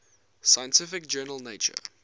scientific journal nature